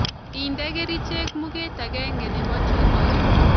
Ide kerichek muget agenge nebo chupoit